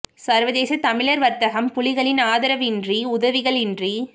சர்வதேச தமிழர் வர்த்தகம் புலிகளின் ஆதர்வின்றி உதவிகளின்றி